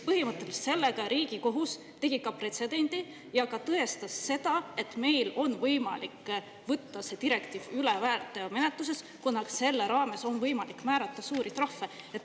Põhimõtteliselt lõi Riigikohus sellega pretsedendi ja tõestas, et meil on võimalik võtta see direktiiv üle, rakendades edaspidi väärteomenetlust, kuna selle raames on võimalik määrata suuri trahve.